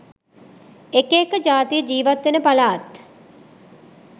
එක එක ජාතිය ජීවත්වෙන පළාත්